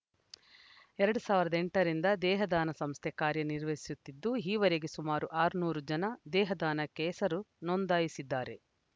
ಎರಡ್ ಸಾವಿರದ ಎಂಟರಿಂದ ದೇಹದಾನ ಸಂಸ್ಥೆ ಕಾರ್ಯ ನಿರ್ವಹಿಸುತ್ತಿದ್ದು ಈವರೆಗೆ ಸುಮಾರು ಆರುನೂರು ಜನ ದೇಹದಾನಕ್ಕೆ ಹೆಸರು ನೋಂದಾಯಿಸಿದ್ದಾರೆ